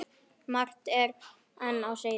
Margt er enn á seyði.